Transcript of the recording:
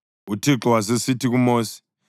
uThixo wasesithi kuMosi,